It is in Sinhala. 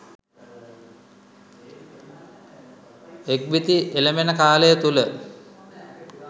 එක්බිති එළඹෙන කාලය තුළ